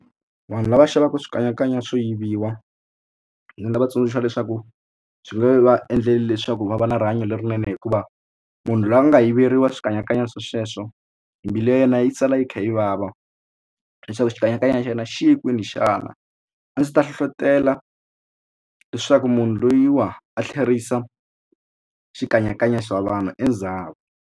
Vanhu lava xavaka swikanyakanya swo yiviwa ndzi nga va tsundzuxa leswaku swi nge va endleli leswaku va va na rihanyo lerinene hikuva munhu loyi a nga yiveriwa swikanyakanya swa sweswo mbilu ya yena yi sala yi kha yi vava leswaku xikanyakanya xa yena xi ye kwini xana a ndzi ta hlohlotelo leswaku munhu lweyiwa a tlherisa xikanyakanya xa vanhu endzhaku.